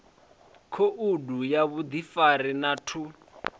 khoudu ya vhuḓifari na ṱhu